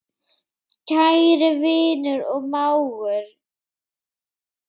Kæri vinur og mágur.